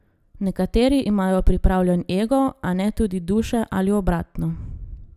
Nekateri imajo pripravljen ego, a ne tudi duše, ali obratno.